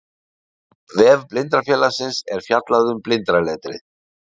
Á vef Blindrafélagsins er fjallað um blindraletrið.